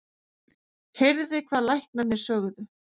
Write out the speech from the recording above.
Heyrði hvað læknarnir sögðu.